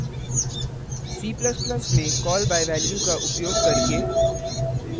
नियतकार्य के रूप में c ++ में call by value का उपयोग करके